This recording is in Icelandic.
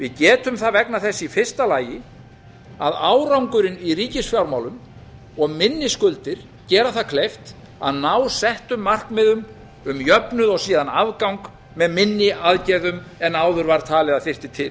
við getum það vegna þess í fyrsta lagi að árangurinn í ríkisfjármálum og minni skuldir gera það kleift að ná settum markmiðum um jöfnuð og síðan afgang með minni aðgerðum en áður er talið að þyrfti til